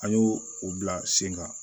An y'o o bila sen kan